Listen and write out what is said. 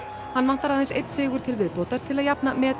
hann vantar aðeins einn sigur til viðbótar til að jafna met